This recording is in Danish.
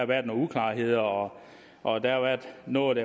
været nogle uklarheder og og der har været noget